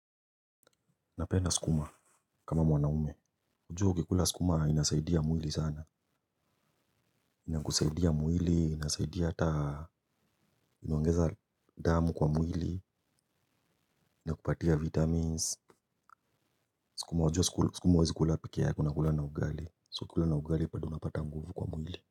Napenda skuma. Kama mwanaume ujua ukikula skuma inasaidia mwili sana. Inakusaidia mwili, inasaidia hata inaongeza damu kwa mwili. Inakupatia vitamins. Skuma ujua skuma uwezi kula pekee yake una kulana ugali So ukikulana ugali bado unapata nguvu kwa mwili.